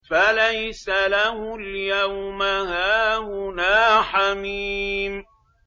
فَلَيْسَ لَهُ الْيَوْمَ هَاهُنَا حَمِيمٌ